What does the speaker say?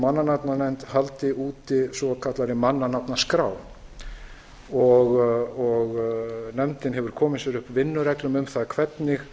mannanafnanefnd haldi úti svokallaðri mannanafnaskrá nefndin hefur komið sér upp vinnureglum um það hvernig